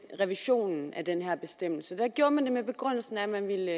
revisionen af den her bestemmelse gjorde man det med begrundelsen at man ville